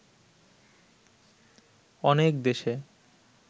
অনেক দেশে